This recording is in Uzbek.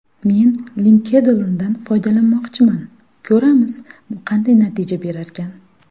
Men LinkedIn’dan foydalanmoqchiman, ko‘ramiz, bu qanday natija berarkan”.